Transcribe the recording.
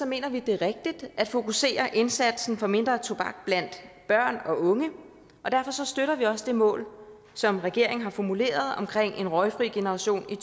mener vi at det er rigtigt at fokusere indsatsen for mindre tobak blandt børn og unge og derfor støtter vi også det mål som regeringen har formuleret omkring en røgfri generation i